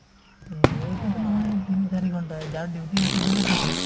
এই এইটোতো নহয় এই তিনি চাৰি ঘণ্টাহে যাৰ duty আছে বেলেগ কথা